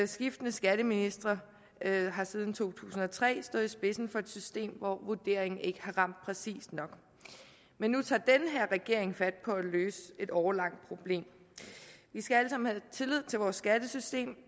skiftende skatteministre har siden to tusind og tre stået i spidsen for et system hvor vurderingen ikke har ramt præcist nok men nu tager den her regering fat på at løse et årelangt problem vi skal alle sammen have tillid til vores skattesystem og